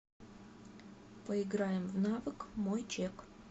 поиграем в навык мой чек